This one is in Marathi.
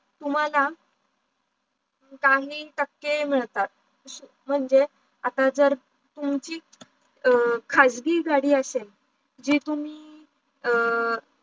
तुम्हाला काही टाके मिडतात म्हणजे आता जर तुमची खाजगी गाडी असेल. जी तुम्ही